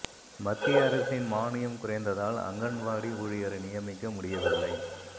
மத்திய அரசின் மான்யம் குறைந்ததால் அங்கன்வாடி ஊழியரை நியமிக்க முடியவில்லை